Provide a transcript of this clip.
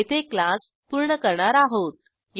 येथे क्लास पूर्ण करणार आहोत